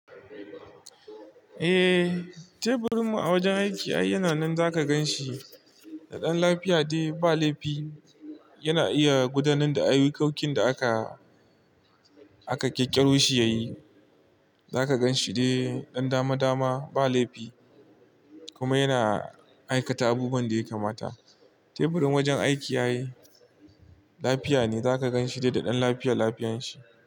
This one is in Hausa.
Eh, teburin mu a wajen aiki ai yana nan zaka gan shi da ɗan lafiya dai ba laifi. Yana iya gudanar da ayyukokin da aka, aka ƙirƙiro shi ya yi. Zaka gan shi dai ɗan dama dama ba laifi kuma yana aikata abubuwan da ya kamata. Teburin wajen aiki ai lafiya ne zaka gan shi dai da ɗan lafiya lafiyan shi.